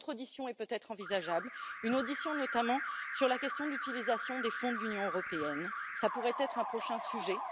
Une autre audition est peut être envisageable, notamment sur la question de l'utilisation des fonds de l'Union européenne, qui pourrait être un prochain sujet.